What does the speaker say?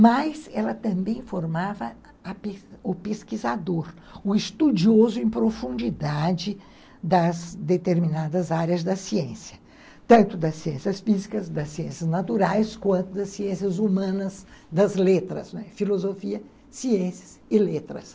mas ela também formava a o pesquisador, o estudioso em profundidade das determinadas áreas da ciência, tanto das ciências físicas, das ciências naturais, quanto das ciências humanas, das letras, filosofia, ciências e letras.